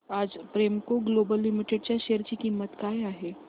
आज Premco global limited च्या share ची किंमत काय आहे